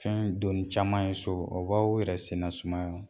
Fɛn doni caman ye so o b'aw yɛrɛ senna sumaya